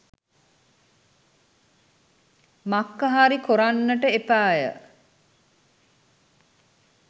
මක්ක හරි කොරන්නට එපැය